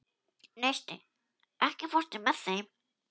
Neisti, ekki fórstu með þeim?